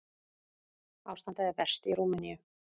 Ástandið er verst í Rúmeníu.